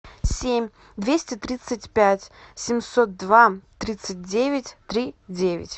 семь двести тридцать пять семьсот два тридцать девять три девять